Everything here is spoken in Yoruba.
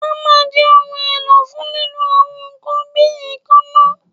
Hammer jẹ ohun elo fun lilu awọn nkan bi eekanna